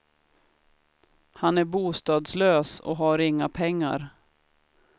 Han är bostadslös och har inga pengar.